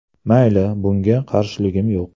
Mayli, bunga qarshiligim yo‘q.